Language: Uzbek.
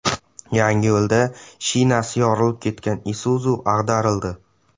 Yangiyo‘lda shinasi yorilib ketgan Isuzu ag‘darildi.